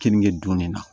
Keninge don ne na